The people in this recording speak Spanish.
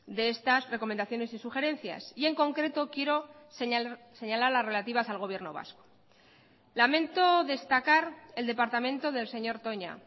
de estas recomendaciones y sugerencias y en concreto quiero señalar las relativas al gobierno vasco lamento destacar el departamento del señor toña